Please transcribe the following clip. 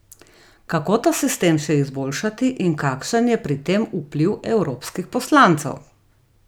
Kako ta sistem še izboljšati in kakšen je pri tem vpliv evropskih poslancev?